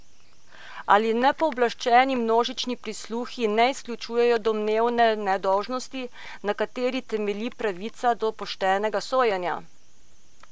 Ali nepooblaščeni množični prisluhi ne izključujejo domneve nedolžnosti, na kateri temelji pravica do poštenega sojenja?